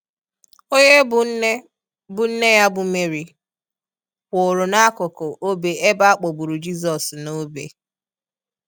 Onye bụ nne bụ nne ya bụ Mary, kwụụrụ n'akụkụ obe ebe a kpọgburu Jizọs n'obe.